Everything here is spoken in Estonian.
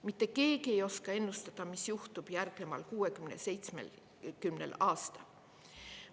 Mitte keegi ei oska ennustada, mis juhtub järgneval 60–70 aastal.